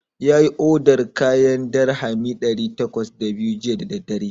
Yayi odar kayan kimanin dirhami ɗari takwas da biyu jiya da daddare.